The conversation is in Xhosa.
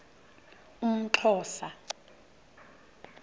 umxhosa